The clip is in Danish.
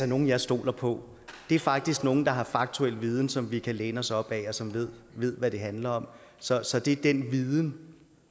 nogle jeg stoler på det er faktisk nogle der har faktuel viden som vi kan læne os op ad og som ved ved hvad det handler om så så det er den viden